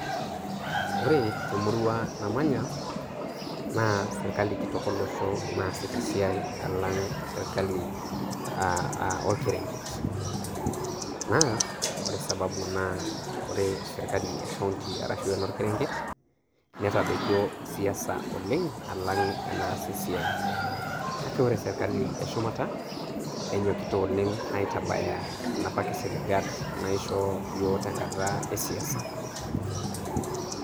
ore temurua namanya, naa sirkali kitok olosho naasita esiai alang' sirkali aah aah orkerenket. Naa ore sababu naa ore sirkali ekaunti arashu enorkerenket netadoikio siasa oleng' alang' enaas esiai kake ore sirkali eshumata enyokita oleng' aitabaya napa kisiligat naishoo yiook tenkata e siasa.